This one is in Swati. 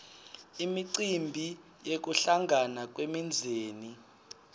imicimbi yekuhlangana kwemindzeni